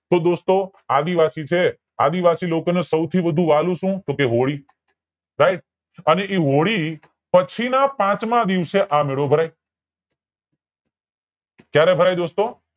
તો દોસ્તો આદિવાસી છે આદિવાસી લોકો ને સૌથી વધુ વાલૂ સુ ટોકે હોળી right અને ઈ હોળી ના પછી ના પાંચમા દિવસે આ મેળો ભરાય ક્યારે ભરાય દોસ્તો